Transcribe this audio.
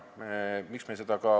Miks?